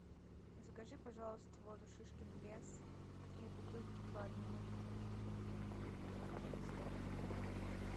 закажи пожалуйста воду шишкин лес три бутылки по одному литру негазированную